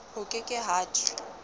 ho ke ke ha thwe